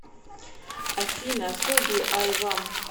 афина соби ай вам